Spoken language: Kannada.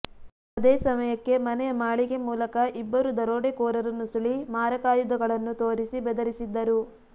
ಅದೇ ಸಮಯಕ್ಕೆ ಮನೆಯ ಮಾಳಿಗೆ ಮೂಲಕ ಇಬ್ಬರು ದರೋಡೆಕೋರರು ನುಸುಳಿ ಮಾರಕಾಯುಧಗಳನ್ನು ತೋರಿಸಿ ಬೆದರಿಸಿದ್ದರು